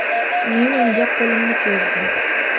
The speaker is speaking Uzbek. Men unga qo‘limni cho‘zdim.